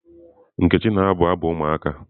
Nkechi na-abụ abụ ụmụaka.